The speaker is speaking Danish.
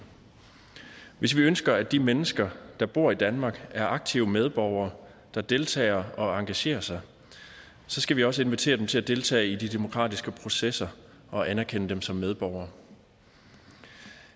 hvis vi ønsker at de mennesker der bor i danmark er aktive medborgere der deltager og engagerer sig skal vi også invitere dem til at deltage i de demokratiske processer og anerkende dem som medborgere